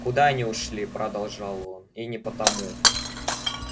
куда они ушли продолжал он и не потому